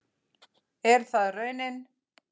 Og er það raunin?